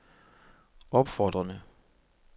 opfordrede